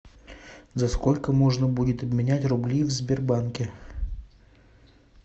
за сколько можно будет обменять рубли в сбербанке